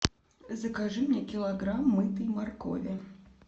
закажи мне килограмм мытой моркови